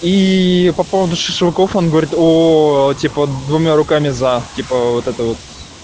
и по поводу шашлыков он говорит о типа двумя руками за типа вот это вот